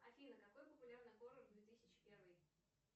афина какой популярный хоррор две тысячи первый